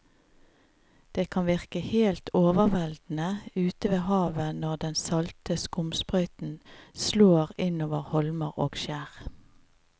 Det kan virke helt overveldende ute ved havet når den salte skumsprøyten slår innover holmer og skjær.